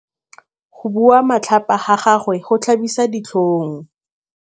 Go bua matlhapa ga gagwe go tlhabisa ditlhong.